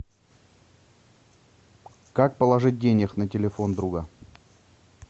как положить денег на телефон друга